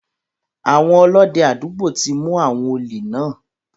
Àwọn Ọlọ́dẹ àdúgbò ti mu àwọn òlè náà.